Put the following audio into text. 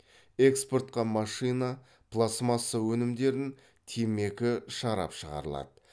экспортқа машина пластмасса өнімдерін темекі шарап шығарылады